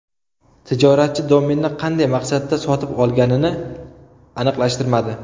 Tijoratchi domenni qanday maqsadda sotib olganini aniqlashtirmadi.